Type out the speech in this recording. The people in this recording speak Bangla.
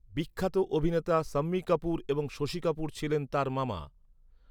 বিখ্যাত অভিনেতা শাম্মী কাপুর এবং শশী কাপুর ছিলেন তার মামা।